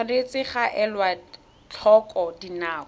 tshwanetse ga elwa tlhoko dinako